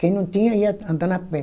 Quem não tinha ia andando a pé.